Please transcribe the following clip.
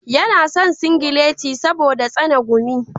Yana son singileti saboda tsane gumi.